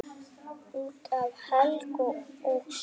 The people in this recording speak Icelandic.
Út af Helga og svona.